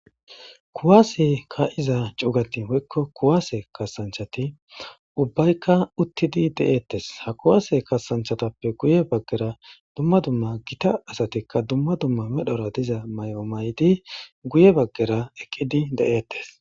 kuwaase ka7iza cuugatin hoykko kuwaase kasanchati ubbaykka uttidi de7eettes ha kuwaase kasanchatappe guye baggera dumma dumma gita asatikka dumma dumma medhora diza may7o maydi guye baggera eqqidi de7ettes